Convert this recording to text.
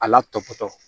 A latɔbɔtɔ